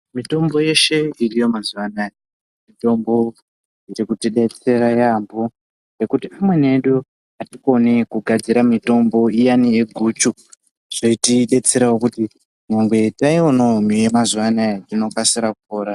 Mitombo yeshe iriyo mazuvaanaya mitombo yekutidetsera yampo nekuti amweni edu atikoni kugadzira mitombo iyani yeguchu zvoitidetserawo kuti nyangwe taionawo yemazuva anaya tinokasira kupora.